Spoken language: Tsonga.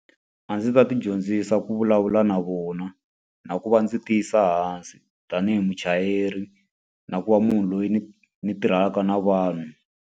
A ndzi ta ti dyondzisa ku vulavula na vona na ku va ndzi tiyisa hansi tanihi muchayeri. Na ku va munhu loyi ni ni tirhelaka na vanhu.